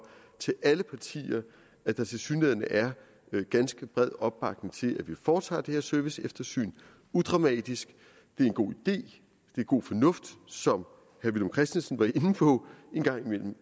at der tilsyneladende er ganske bred opbakning til at vi foretager det her serviceeftersyn udramatisk det er en god idé det er god fornuft som herre villum christensen var inde på en gang imellem